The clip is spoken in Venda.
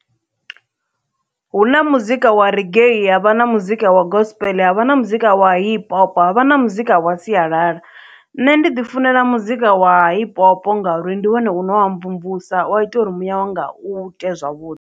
Hu na muzika wa reggae havha na muzika wa gospel havha na muzika wa hip hop havha na muzika wa sialala nṋe ndi ḓi funela muzika wa hip hop ngauri ndi wone une wa mvumvusa wa ita uri muyawanga u ite zwavhuḓi.